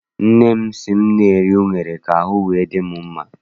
Nne m sị m na-eri unere ka ahụ wee dị m mma.